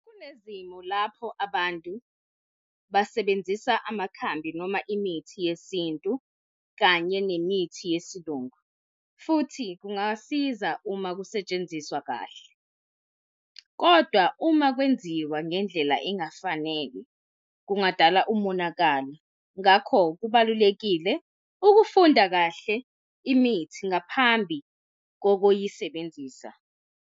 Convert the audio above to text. Kunezimo lapho abantu basebenzisa amakhambi noma imithi yesintu kanye nemithi yesiLungu. Futhi kungasiza uma kusetshenziswa kahle, kodwa uma kwenziwa ngendlela engafanele kungadala umonakalo. Ngakho kubalulekile ukufunda kahle imithi ngaphambi kokuyisebenzisa.